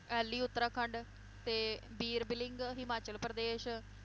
ally Uttarakhand, ਤੇ ਬੀਰਬਿਲਿੰਗ ਹਿਮਾਚਲ ਪ੍ਰਦੇਸ਼,